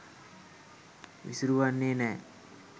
විසුරුවන්නෙ නෑ.